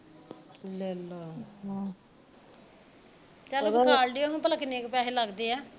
ਲੈ ਲਾ ਚੱਲ ਵਖਾ ਲਿਓ ਭਲਾ ਕਿੰਨੇ ਕਿ ਪੈਹੇ ਲੱਗਦੇ ਆ